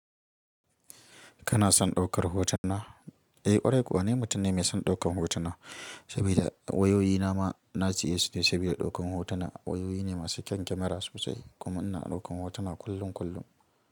Kana son ɗaukar hotuna? Eh ƙwarai kuwa ni mutum ne mai son ɗaukan hotuna saboda wayoyina ma na siye su ne saboda ɗaukan hotuna. Wayoyi ne masu kyan kyamara sosai kuma ina ɗaukan hotuna kullum kullum.